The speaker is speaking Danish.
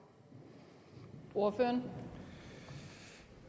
ordet